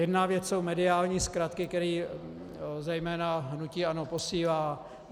Jedna věc jsou mediální zkratky, které zejména hnutí ANO posílá.